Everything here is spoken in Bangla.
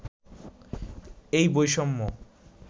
এই বৈষম্য